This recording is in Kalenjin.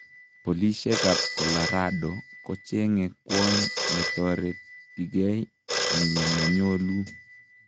Polosiek ab Colorado kochenge kwony natoretigei en yemonyoluu.